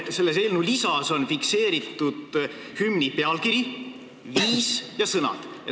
Selle eelnõu lisas on fikseeritud hümni pealkiri, viis ja sõnad.